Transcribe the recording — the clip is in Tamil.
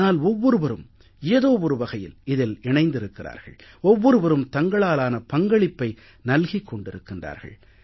ஆனால் ஒவ்வொருவரும் ஏதோ ஒரு வகையில் இதில் இணைந்திருக்கிறார்கள் ஒவ்வொருவரும் தங்களாலான பங்களிப்பை நல்கிக் கொண்டிருக்கிறார்கள்